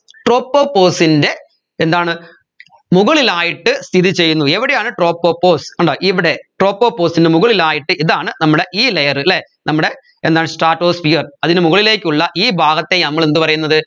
tropopause ന്റെ എന്താണ് മുകളിലായിട്ട് ഇത് ചെയ്യുന്നു എവിടെയാണ് tropopause കണ്ടോ ഇവിടെ tropopause ൻറെ മുകളിലായിട്ട് ഇതാണ് നമ്മുടെ ഈ layer അല്ലെ നമ്മടെ എന്താണ് stratosphere അതിൻറെ മുകളിലേക്കുള്ള ഈ ഭാഗത്തെ നമ്മൾ എന്ത് പറയുന്നത്